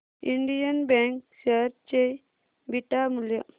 Indian bank share चे beta मूल्य